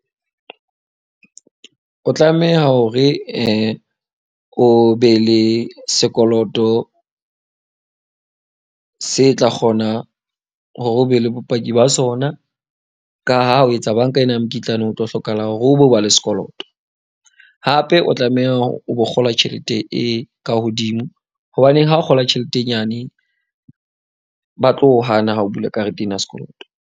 O tlameha hore o be le sekoloto se tla kgona hore o be le bopaki ba sona ka ha o etsa banka ena ya mokitlane, o tlo hlokahala hore o be o ba le sekoloto. Hape o tlameha o bo kgola tjhelete e ka hodimo. Hobaneng ha o kgola tjhelete e nyane ba tlo hana ha o bula karete ena ya sekoloto.